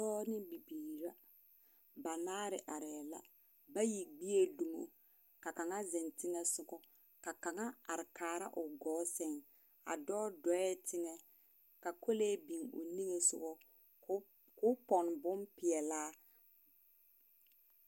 Pɔɔ ne bibiir'a. Banaare arɛɛ la. Bayi gbie dumo, ka kaŋa zeŋ teŋɛsoɔ, ka kaŋa ar kaara o gɔɔ sɛŋ. A dɔɔ dɔɛɛ teŋɛ ka kolee bin o niŋe sogɔ ko k'o pɔn bompeɛlaa.